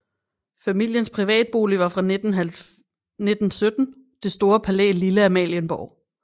Familiens privatbolig var fra 1917 det store palæ Lille Amalienborg